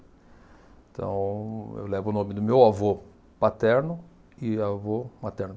Então, eu levo o nome do meu avô paterno e avô materno.